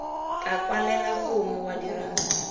ka kwalela gongwe wa dira